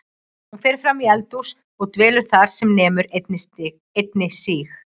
Hún fer fram í eldhús og dvelur þar sem nemur einni síg